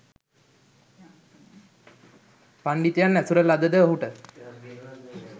පණ්ඩිතයන් ඇසුර ලද ද ඔහුට